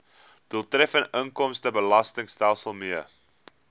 doeltreffende inkomstebelastingstelsel mee